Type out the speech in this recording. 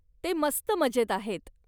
ते मस्त मजेत आहेत.